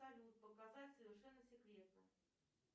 салют показать совершенно секретно